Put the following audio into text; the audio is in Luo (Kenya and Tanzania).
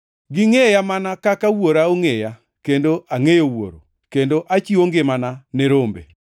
Gingʼeya mana kaka Wuora ongʼeya kendo angʼeyo Wuoro, kendo achiwo ngimana ne rombe.